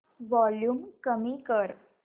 volume कमी कर